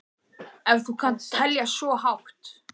Ef þú kannt að telja svo hátt.